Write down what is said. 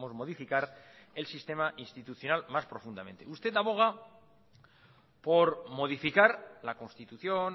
modificar el sistema institucional más profundamente usted aboga por modificar la constitución